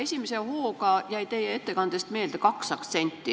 Esimese hooga jäi teie ettekandest meelde kaks aktsenti.